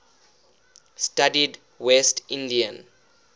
studied west indian